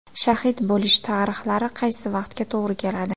Shahid bo‘lish tarixlari qaysi vaqtga to‘g‘ri keladi?